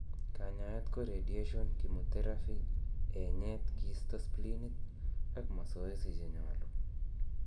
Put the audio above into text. Kanyaet ko radiation, chemotherapy, enyeet kisto spleenit ak masoesi chenyolu